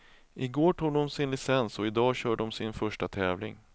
I går tog de sin licens och i dag kör de sin första tävling.